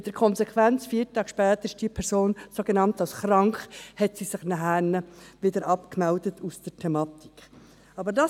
Dies mit der Konsequenz, dass diese Person sich vier Tage später gleich wieder als krank von der Thematik abgemeldet hat.